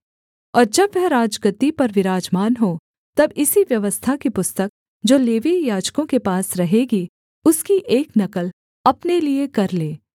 और जब वह राजगद्दी पर विराजमान हो तब इसी व्यवस्था की पुस्तक जो लेवीय याजकों के पास रहेगी उसकी एक नकल अपने लिये कर ले